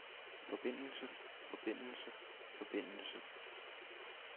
forbindelse forbindelse forbindelse